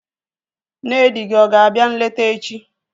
Nne di gị ọ ga-abịa nleta echi?